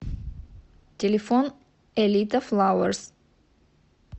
телефон элита флауэрс